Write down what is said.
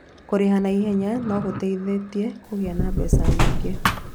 Kũrĩha na ihenya no gũgũteithie kũgĩa na mbeca nyingĩ.